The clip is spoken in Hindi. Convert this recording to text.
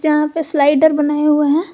यहां पे स्लाइडर बनाया हुआ है।